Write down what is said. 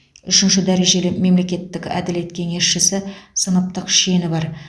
үшінші дәрежелі мемлекеттік әділет кеңесшісі сыныптық шені бар